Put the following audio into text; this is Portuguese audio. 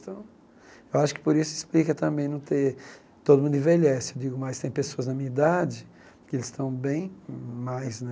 Então, eu acho que por isso explica também não ter... Todo mundo envelhece, eu digo, mas tem pessoas na minha idade que eles estão bem mais, né?